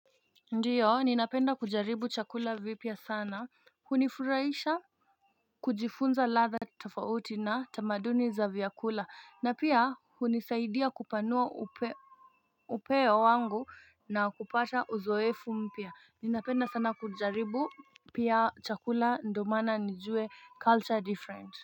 Ndio, ninapenda kujaribu chakula vipya sana, hunifuraisha kujifunza ladha tofauti na tamaduni za vyakula, na pia hunisaidia kupanua upeo wangu na kupata uzoefu mpya. Ninapenda sana kujaribu pia chakula ndo maana nijue culture different.